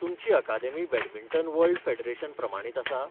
तुमची अकादेमी badminton world federation प्रमाणीत आसा?